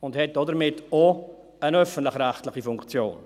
und hat damit auch eine öffentlich-rechtliche Funktion.